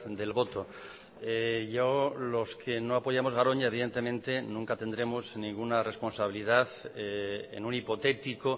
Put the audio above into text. del voto yo los que no apoyamos garoña evidentemente nunca tendremos ninguna responsabilidad en un hipotético